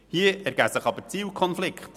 Hier ergeben sich aber Zielkonflikte: